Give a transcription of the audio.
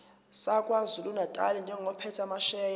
sakwazulunatali njengophethe amasheya